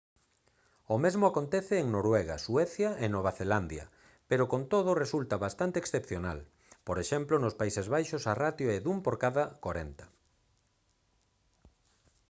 o mesmo acontece en noruega suecia e nova zelandia pero con todo resulta bastante excepcional por exemplo nos países baixos a ratio é dun por cada corenta